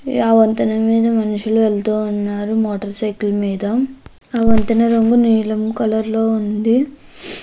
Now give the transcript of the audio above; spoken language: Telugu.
ఆ వంతెన మీద మనుషులు వెళ్తూ ఉన్నారు మోటార్ సైకిల్ మీద . అవంతి నీలం కలర్ లో ఉంది.